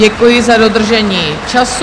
Děkuji za dodržení času.